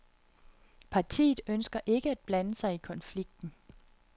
Partiet ønsker ikke at blande sig i konflikten.